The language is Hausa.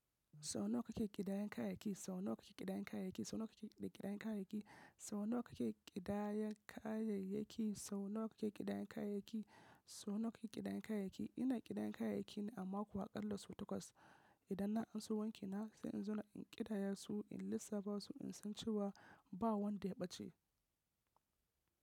Sau nawa kake ƙidayan kayayyaki? Sau nawa kake ƙidayan kayayyaki? Sau nawa kake ƙidayan kayayyaki? Sau nawa kake ƙidayan kayayyaki? Sau nawa kake ƙidayan kayayyaki? Sau nawa kake ƙidayan kayayyaki? Ina ƙidayan kayayyaki na a mako a ƙalla sau takwas. Idan na anso wankina sai in zo na ƙidaya su in lissafa su in san cewa ba wanda ya ɓace.